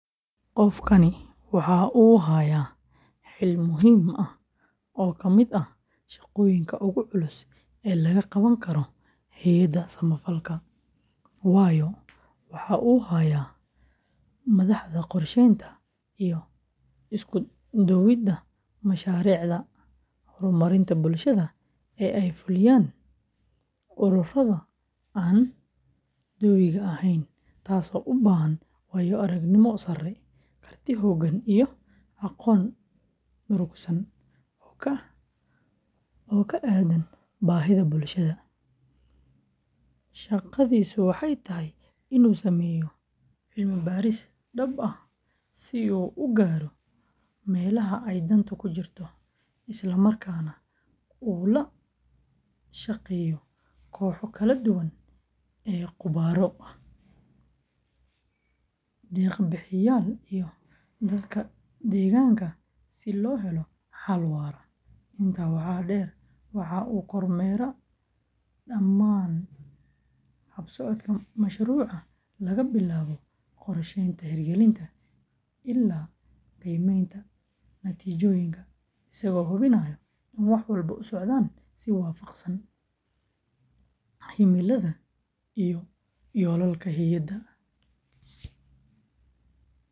Qofkani waxa uu hayaa xil muhiim ah oo ka mid ah shaqooyinka ugu culus ee laga qaban karo hay’adaha samafalka, waayo waxa uu yahay madaxda qorsheynta iyo isku-duwidda mashaariicda horumarinta bulshada ee ay fuliyaan ururada aan dowiga ahayn, taasoo u baahan waayo-aragnimo sare, karti hoggaan, iyo aqoon durugsan oo ku aaddan baahiyaha bulshada. Shaqadiisu waxay tahay inuu sameeyo cilmi-baaris dhab ah si uu u garto meelaha ay dantu ku jirto, isla markaana uu la shaqeeyo kooxo kala duwan oo khubaro ah, deeq-bixiyeyaal iyo dadka deegaanka si loo helo xal waara. Intaa waxaa dheer, waxa uu kormeeraa dhammaan hab-socodka mashruuca laga bilaabo qorshaynta, hirgelinta, ilaa qiimeynta natiijooyinka, isagoo hubinaya in wax walba u socdaan si waafaqsan himilada iyo yoolalka hay’adda.